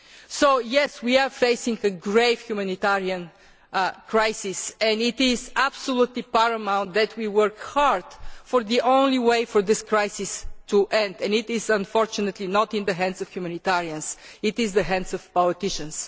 So yes, we are facing a grave humanitarian crisis, and it is absolutely paramount that we work hard. For the only way for this crisis to end is, unfortunately, not in the hands of humanitarians, it is in the hands of politicians.